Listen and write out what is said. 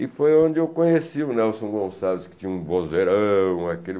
E foi onde eu conheci o Nelson Gonçalves, que tinha um vozerão. Aquele